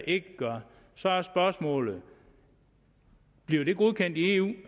ikke gør så er spørgsmålet bliver det godkendt i eu